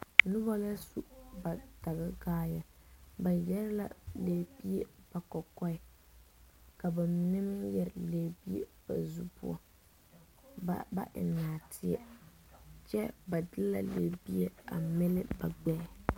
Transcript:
Noba la su ba daga kaaya. Ba yɛre la lɛbie ba kokɔe. Ka ba mene meŋ yɛre lɛbie ba zu poʊ. Ba ba eŋ narteɛ. Kyɛ ba de la lɛbie a mili ba gbɛɛ.